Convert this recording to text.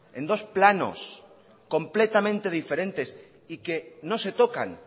en dos planos completamente diferentes y que no se tocan